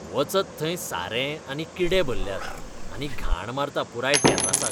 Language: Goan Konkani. वचत थंय सारें आनी किडे भल्ल्यात, आनी घाण मारता पुराय टॅर्रासाक.